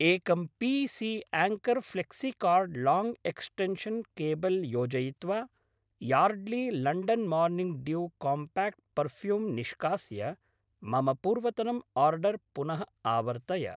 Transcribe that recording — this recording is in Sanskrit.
एकं P C Anker flexicord long extension cable योजयित्वा Yardley London morning dew compact perfume निष्कास्य मम पूर्वतनम् आर्डर् पुनः आवर्तय।